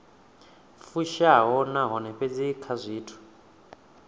fushaho nahone fhedzi kha zwithu